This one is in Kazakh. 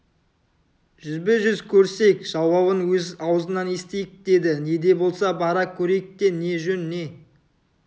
жүзбе-жүз көрісейік жауабын өз аузынан естейік деді не де болса бара көрейік те не жөн не